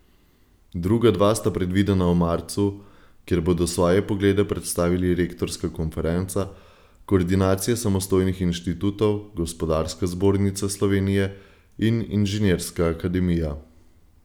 Druga dva sta predvidena v marcu, kjer bodo svoje poglede predstavili Rektorska konferenca, koordinacija samostojnih inštitutov, Gospodarska zbornica Slovenije in Inženirska akademija.